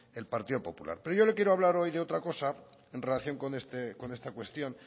el partido popular pero yo le quiero hablar hoy de otra cosa en relación con esta cuestión